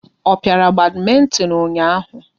Ọ piara badmintin ụnyaahụ?